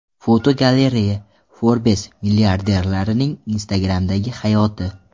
Fotogalereya: Forbes milliarderlarining Instagram’dagi hayoti.